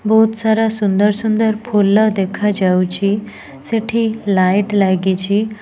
ବହୁତ୍ ସାରା ସୁନ୍ଦର୍ ସୁନ୍ଦର୍ ଫୁଲ ଦେଖାଯାଉଛି ସେଠି ଲାଇଟ୍ ଲାଗିଛି।